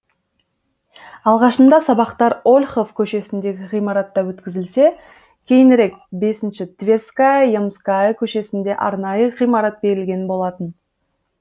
алғашында сабақтар ольхов көшесіндегі ғимаратта өткізілсе кейінірек бесінші тверьская ямская көшесінде арнайы ғимарат берілген болатын